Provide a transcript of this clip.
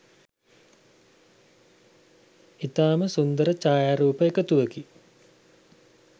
ඉතාම සුන්දර ඡායාරූප එකතුවකි.